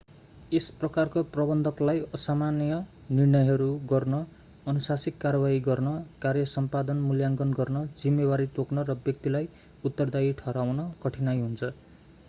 यस प्रकारको प्रबन्धकलाई असामान्य निर्णयहरू गर्न अनुशासनिक कारवाही गर्न कार्य सम्पादन मूल्याङ्कन गर्न जिम्मेवारी तोक्न र व्यक्तिलाई उत्तरदायी ठहराउन कठीनाइ हुन्छ